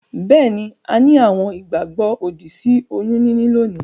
Beeni, a ni àwon ìgbàgbó òdì sí oyún níní lónìí